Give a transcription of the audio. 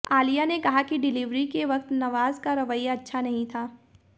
आलिया ने कहा कि डिलीवरी के वक्त नवाज का रवैया अच्छा नहीं था